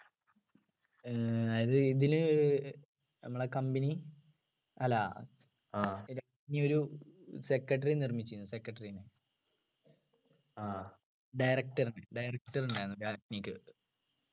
ആഹ് അതായത് ഇതിനു നമ്മളെ company അല്ല രാജ്ഞി ഒരു secretary നിർമിച്ചു secretary നെ director നെ director ഉണ്ടായിരുന്നു രാജ്ഞിക്ക്